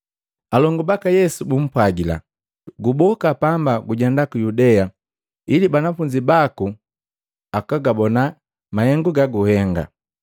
alongu baka Yesu bumpwajila, “Guboka pamba gujenda ku Yudea, ili banafunzi baku akagabona mahengu gaguhenga.